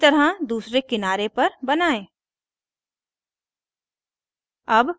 इसी तरह दूसरे किनारे पर बनायें